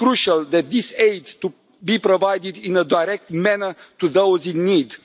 It is crucial that this aid be provided in a direct manner to those in need.